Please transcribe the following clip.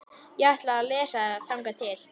Ég ætla að lesa þangað til.